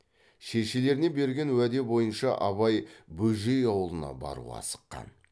шешелеріне берген уәде бойынша абай бөжей аулына баруға асыққан